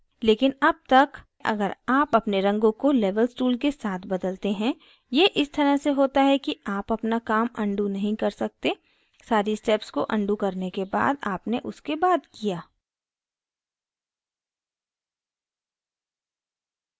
लेकिन अब तक अगर आप अपने रंगों को levels tool के साथ बदलते हैं यह इस तरह से होता है कि आप अपना काम अनडू नहीं कर सकते सारी steps को अनडू करने के बाद अपने उसके बाद किया